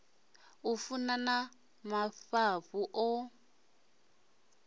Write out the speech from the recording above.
u funa na mafhafhu o